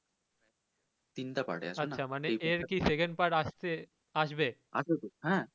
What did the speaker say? তিনটা part এ আছেতো হ্যা